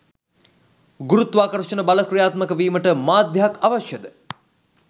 ගුරුත්වාකර්ෂණ බල ක්‍රියාත්මක වීමට මාධ්‍යයක් අවශ්‍යද?